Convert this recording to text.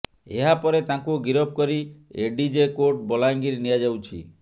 ଏହାପରେ ତାଙ୍କୁ ଗିରଫ କରି ଏଡିଜେ କୋର୍ଟ ବଲାଙ୍ଗୀର ନିଆଯାଉଛି